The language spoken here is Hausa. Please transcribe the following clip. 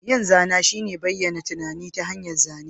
Yin zana shine bayyana tunani ta hanyar zane.